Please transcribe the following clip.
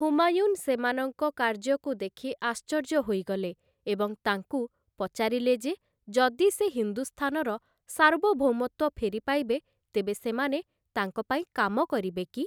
ହୁମାୟୁନ୍ ସେମାନଙ୍କ କାର୍ଯ୍ୟକୁ ଦେଖି ଆଶ୍ଚର୍ଯ୍ୟ ହୋଇଗଲେ ଏବଂ ତାଙ୍କୁ ପଚାରିଲେ ଯେ ଯଦି ସେ ହିନ୍ଦୁସ୍ଥାନର ସାର୍ବଭୌମତ୍ୱ ଫେରିପାଇବେ ତେବେ ସେମାନେ ତାଙ୍କ ପାଇଁ କାମ କରିବେ କି?